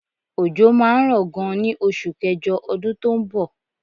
Òjò máa ń rọ gan ní oṣù kẹjọ ọdún tó ń bọ̀.